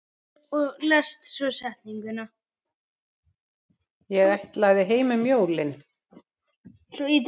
Ég ætlaði heim um jólin.